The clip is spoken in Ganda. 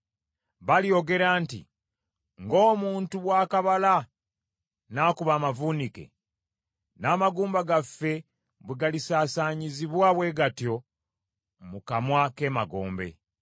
Balyogera nti, “Ng’omuntu bw’akabala n’akuba amavuunike, n’amagumba gaffe bwe galisaasaanyizibwa bwe gatyo mu kamwa k’emagombe.”